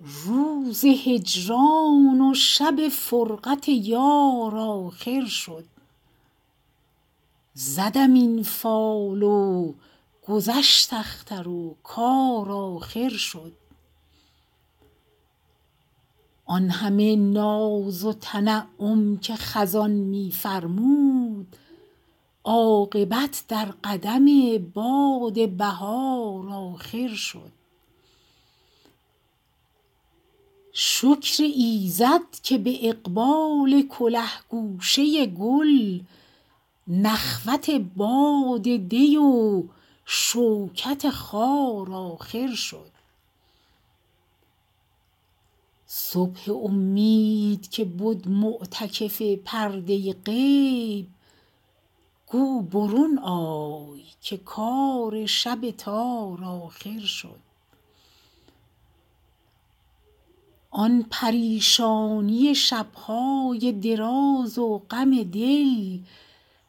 روز هجران و شب فرقت یار آخر شد زدم این فال و گذشت اختر و کار آخر شد آن همه ناز و تنعم که خزان می فرمود عاقبت در قدم باد بهار آخر شد شکر ایزد که به اقبال کله گوشه گل نخوت باد دی و شوکت خار آخر شد صبح امید که بد معتکف پرده غیب گو برون آی که کار شب تار آخر شد آن پریشانی شب های دراز و غم دل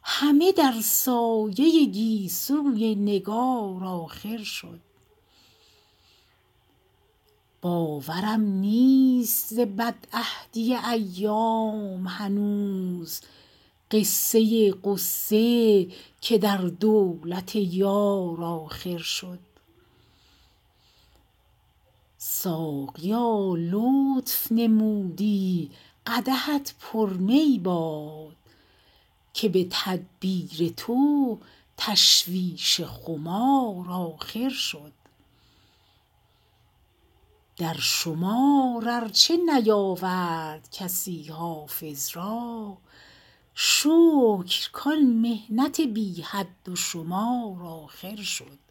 همه در سایه گیسوی نگار آخر شد باورم نیست ز بدعهدی ایام هنوز قصه غصه که در دولت یار آخر شد ساقیا لطف نمودی قدحت پر می باد که به تدبیر تو تشویش خمار آخر شد در شمار ار چه نیاورد کسی حافظ را شکر کان محنت بی حد و شمار آخر شد